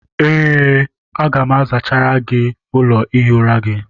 Oo, aga m azachara gị ụlọ ihi ụra gị.